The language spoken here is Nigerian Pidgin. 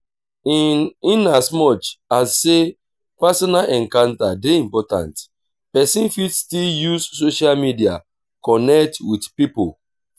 in in as much as sey personal encounter dey important person fit still use social media connect with pipo